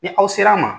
Ni aw sera a ma